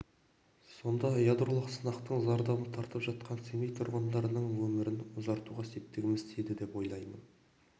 сонда ғана ядролық сынақтың зардабын тартып жатқан семей тұрғындарының өмірін ұзартуға септігіміз тиеді деп ойлаймын